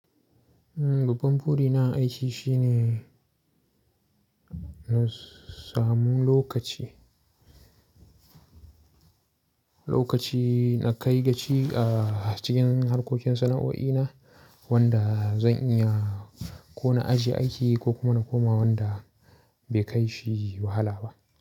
Babban buri na a aiki shine nassamu lokaci, lokaci na kai gaci a cikin harkokin sana'o'i na wanda zan iya ko na ajiye aiki ko kuma na koma wanda bai kai shi wahala ba.